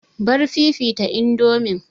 Bar fifita indomin!